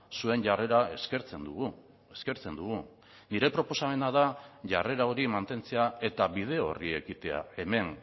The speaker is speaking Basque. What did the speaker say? zuen jarrera eskertzen dugu eskertzen dugu nire proposamena da jarrera hori mantentzea eta bide horri ekitea hemen